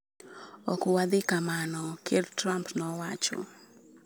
Ok wadhi kamano." Ker Trump nowacho.